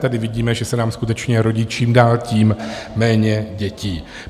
Tady vidíme, že se nám skutečně rodí čím dál tím méně dětí.